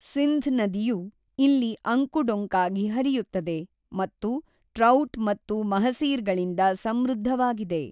ಸಿಂಧ್ ನದಿಯು ಇಲ್ಲಿ ಅಂಕು-ಡೊಂಕಾಗಿ ಹರಿಯುತ್ತದೆ ಮತ್ತು ಟ್ರೌಟ್ ಮತ್ತು ಮಹಸೀರ್‌ಗಳಿಂದ ಸಮೃದ್ಧವಾಗಿದೆ.